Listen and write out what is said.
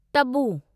Tabu